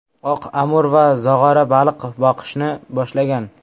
Oq amur va zog‘ora baliq boqishni boshlagan.